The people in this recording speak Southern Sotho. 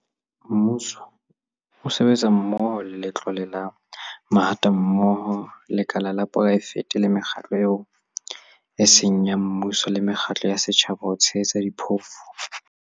Mmuso o sebetsa mmoho le Letlole la Mahatammoho, lekala la poraefete le mekgatlo eo e seng ya mmuso le mekgatlo ya setjhaba ho tshehetsa diphofu.